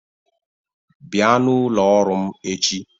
Bịa n'ụlọ ọrụ m echi!